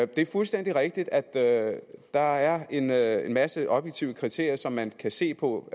det er fuldstændig rigtigt at der er en er en masse objektive kriterier som man kan se på